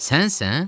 Sənsən?